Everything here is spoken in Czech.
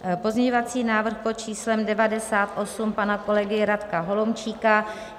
Pozměňovací návrh pod číslem 98 pana kolegy Radka Holomčíka.